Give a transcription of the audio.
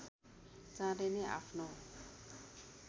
चाँडै नै आफ्नो